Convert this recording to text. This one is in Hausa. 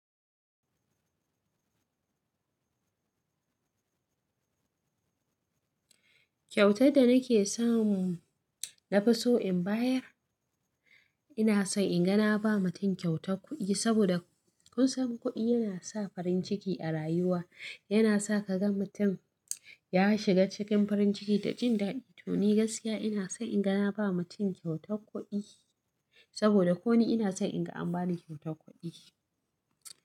Kyautar da nake so nafiso in bayar, ina so in ga na ba mutum kyautar kuɗi saboda kun san kuɗi yana sa farin ciki a rayuwa, yana sa ka ga mutum ya shiga cikin farin ciki da jin daɗi. To ni gaskiya ina so in ga na ba mutum kyautar kuɗi saboda ko ni ina so in ga an ba ni kyautar kuɗi.